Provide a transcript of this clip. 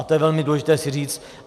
A to je velmi důležité si říct.